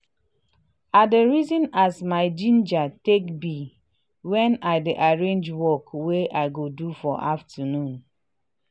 i dey reason as my ginger take be wen i dey arrange work wey i go do for afternoon.